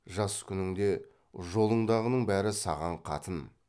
жас күніңде жолыңдағының бәрі саған қатын